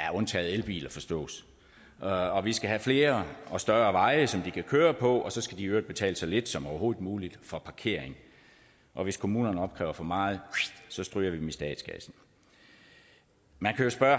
ja undtagen elbiler forstås og vi skal have flere og større veje som de kan køre på og så skal de i øvrigt betale så lidt som overhovedet muligt for parkering og hvis kommunerne opkræver for meget så stryger vi dem i statskassen man kan jo spørge